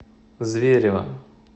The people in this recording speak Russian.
зверева